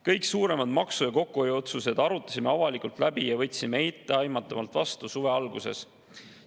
Kõik suuremad maksu- ja kokkuhoiuotsused arutasime avalikult läbi ja võtsime etteaimatavalt vastu suve alguses.